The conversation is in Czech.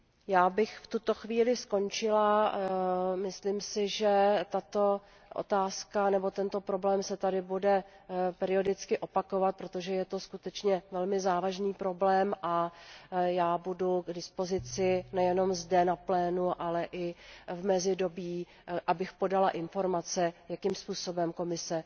Já bych v tuto chvíli skončila, myslím si, že tato otázka nebo tento problém se tady bude periodicky opakovat, protože je to skutečně velmi závažný problém, a já budu k dispozici nejenom zde na plénu, ale i v mezidobí, abych podala informace, jakým způsobem Komise